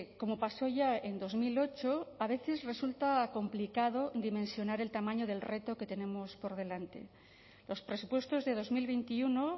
como pasó ya en dos mil ocho a veces resulta complicado dimensionar el tamaño del reto que tenemos por delante los presupuestos de dos mil veintiuno